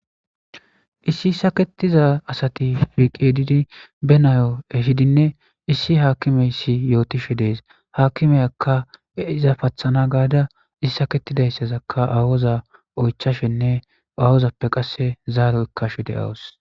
issi sakettiza asati fiiqedidi be nayo ehidinne issi haakimeyssi yootishe dees haakimeyakka iza pathana gaada issaketidayssazakka aawoza oychashenne awozappe qasse zaaro ekkashe de7awus